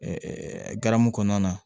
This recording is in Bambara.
garamu kɔnɔna na